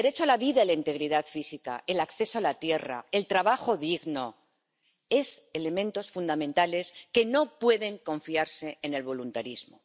El derecho a la vida y la integridad física, el acceso a la tierra, el trabajo digno son elementos fundamentales que no pueden confiarse al voluntarismo.